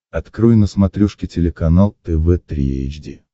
открой на смотрешке телеканал тв три эйч ди